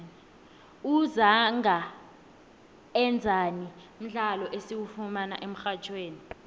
uzangaenzani mdlalo esiwufumana emxhatjhweni